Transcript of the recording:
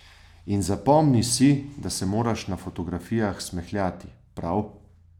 In zapomni si, da se moraš na fotografijah smehljati, prav?